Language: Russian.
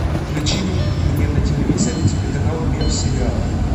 включи мне на телевизоре телеканал мир сериала